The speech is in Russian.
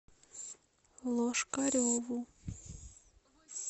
лошкареву